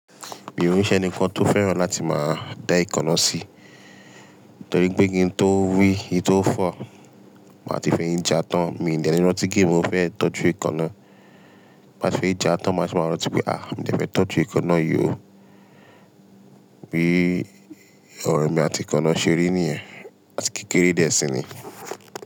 Mi ò n Ṣẹ́ni kàn tó fẹ́ràn láti máa dá èékánná sí, torí pé kí n tó wí kin tó fọ́ máa ti fẹ́yín já tán. Mí ò ní dání rántí pé mo fẹ́ tọ́jú èékánná. Tin báa ti fẹ́yín já tán, máa ṣẹ wáa rántí pé à, mí dẹ́ fẹ́ tọ́jú èékánná yìí o. Bí ọ̀rọ̀ èmi àti èékánná ṣe rí ní ẹ̀, àti kékeré dẹ́ẹ̀ sì ni.